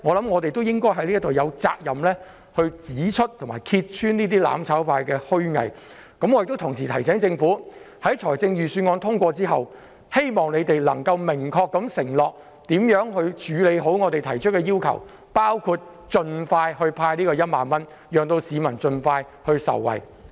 我們有責任指出和揭穿"攬炒派"的虛偽，同時亦要提醒政府，待預算案獲得通過後，當局應明確承諾將如何妥善處理我們提出的要求，包括盡快派發1萬元，讓市民早日受惠。